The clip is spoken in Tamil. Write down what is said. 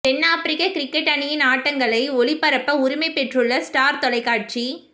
தென் ஆப்பிரிக்க கிரிக்கெட் அணியின் ஆட்டங்களை ஒளிபரப்ப உரிமை பெற்றுள்ள ஸ்டார் தொலைக்காட்சி